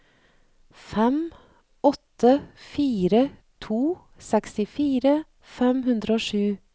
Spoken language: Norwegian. fem åtte fire to sekstifire fem hundre og sju